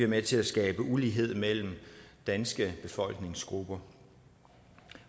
med til at skabe ulighed mellem danske befolkningsgrupper